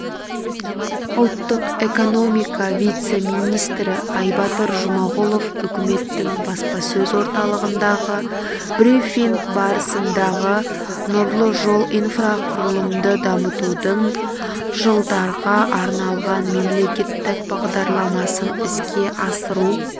ұлттық экономика вице-министрі айбатыр жұмағұлов үкіметтің баспасөз орталығындағы брифинг барысында нұрлы жол инфрақұрылымды дамытудың жылдарға арналған мемлекеттік бағдарламасын іске асыру